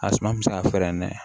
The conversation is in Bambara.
A suma mi se ka fɛrɛ nɛn